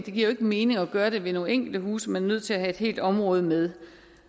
jo ikke mening at gøre det ved nogle enkelte huse man er nødt til at have et helt område med